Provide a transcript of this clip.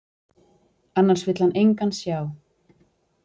Annars vill hann engan sjá.